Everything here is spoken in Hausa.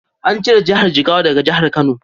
An ciro Jihar Jigawa daga Jihar Kano.